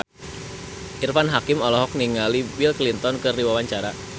Irfan Hakim olohok ningali Bill Clinton keur diwawancara